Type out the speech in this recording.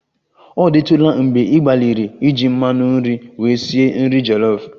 Ọ dịtụla mgbe ị gbalịrị iji mmanụ nri were sie nri jollof?